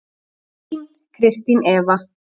Þín Kristín Eva.